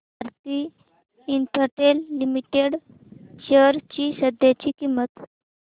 Bharti Infratel limited shares ची सध्याची किंमत